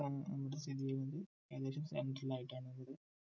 സ്ഥിതി ചെയ്യുന്നത് ഏകദേശം centre ൽ ആയിട്ടാണ് ഉള്ളത്